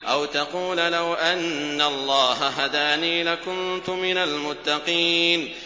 أَوْ تَقُولَ لَوْ أَنَّ اللَّهَ هَدَانِي لَكُنتُ مِنَ الْمُتَّقِينَ